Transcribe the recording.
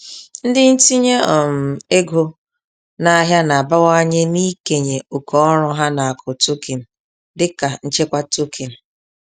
Ndị ntinye um ego n'ahịa na-abawanye n'ikenye oke ọrụ ha n'akụ tokin dịka nchekwa tokin.